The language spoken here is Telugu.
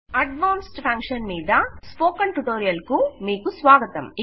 అడ్వాన్స్డ్ ఫంక్షన్ మీద స్పోకెన్ టుటొరియల్ కు మీకు స్వాగతం